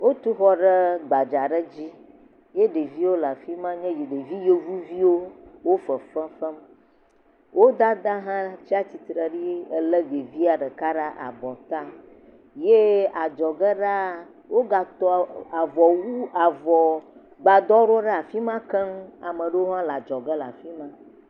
Wotu xɔ ɖe gbadzaa dzi. Ye ɖevi le afima. Wonye ɖevi yevu viwo fefefem. Wo dada hã tsia tsitre ɖi Ele ɖevia ɖeka ɖe abɔ ta, ye adzo ge ɖa wò gã tɔ avɔ wu, avɔ gbadɔ ɖe fima keŋ. Ame aɖewo hã le adzɔ ge le fima.